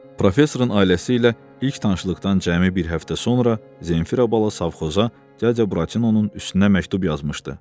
Professorun ailəsi ilə ilk tanışlıqdan cəmi bir həftə sonra Zenfira bala savxoza Dracabratinonun üstünə məktub yazmışdı.